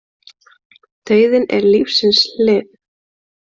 Dauðinn er lífsins hlið.